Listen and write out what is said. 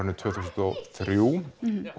tvö þúsund og þrjú